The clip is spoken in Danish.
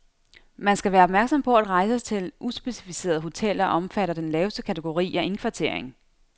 Man skal være opmærksom på, at rejser til uspecificerede hoteller omfatter den laveste kategori af indkvartering.